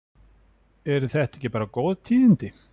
Eru þetta ekki bara mjög góð tíðindi?